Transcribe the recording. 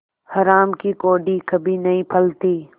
हराम की कौड़ी कभी नहीं फलती